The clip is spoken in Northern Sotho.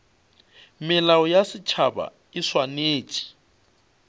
melao ya setšhaba e swanetše